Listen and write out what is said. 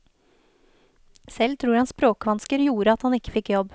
Selv tror han språkvansker gjorde at han ikke fikk jobb.